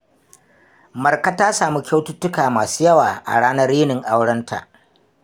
Marka ta samu kyaututtuka masu yawa a ranar yinin aurenta.